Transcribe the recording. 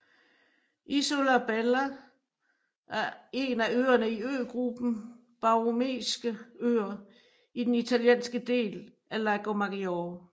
Isola Bella er en af øerne i øgruppen Borromeiske Øer i den italienske del af Lago Maggiore